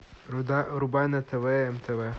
врубай на тв нтв